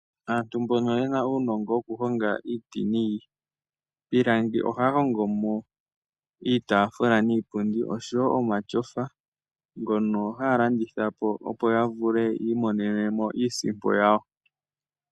Aantu mbono yena uunongo wokuhonga iiti niipilangi ohaya hongo mo iitaafula niipundi oshowo omatyofa ngono haya landitha po opo ya vule yi imonene mo iisimpo yawo.